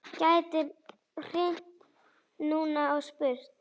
Gæti hringt núna og spurt.